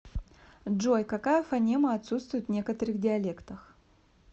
джой какая фонема отсутствует в некоторых диалектах